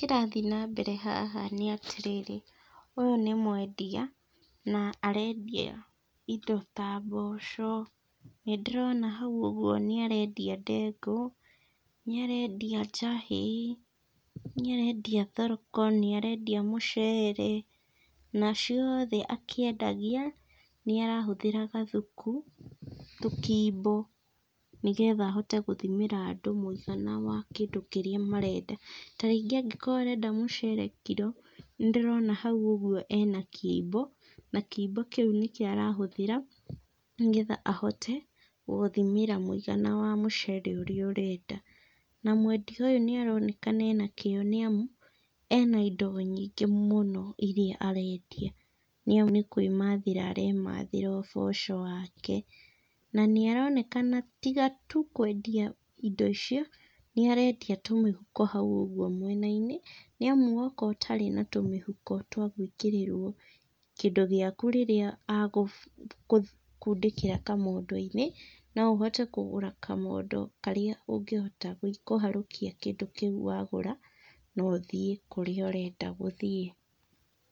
Kĩrathiĩ na mbere haha nĩ atĩrĩrĩ, ũyũ nĩ mwendia, na arendia indo ta mboco, nĩndĩrona hau ũguo nĩarendĩa ndengũ, nĩarendia njahĩ, nĩarendia thoroko, nĩarendia mũcere, na ciothe akĩendagia, nĩarahũthĩra gathuku, tũkimbo, nĩgetha ahote gũthimĩra andũ mũigana wa kĩndũ kĩrĩa marenda. Ta rĩngĩ angĩkorwo arenda mũcere kiro, nĩndĩrona hau ũguo ena kimbo, na kimbo kĩũ nĩkĩo arahũthĩra, nĩgetha ahote gũgũthimĩra mũigana wa mũcere ũrĩa ũrenda. Na mwendia ũyũ nĩaronekana ena kĩo nĩamu, ena indo nyingĩ mũno irĩa arendia. Nĩ amu nĩkwĩmathĩra aremathĩra ũboco wake, na nĩaronekana tiga tu kwendia indo icio, nĩarendia tũmĩhuko hau ũguo mwena-inĩ, nĩamu woka ũtarĩ na tũmĩhuko twa gwĩkĩrĩrwo kindũ gĩaku rĩrĩa akũ kũ kũndĩkĩra kamondo-inĩ, no ũhote kũgũra kamondo karĩa ũngĩhota kũharũkia kĩndũ kĩu wagũra, na ũthiĩ kũrĩa ũrenda gũthiĩ.